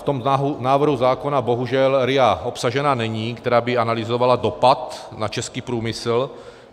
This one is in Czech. V tom návrhu zákona bohužel RIA obsažena není, která by analyzovala dopad na český průmysl.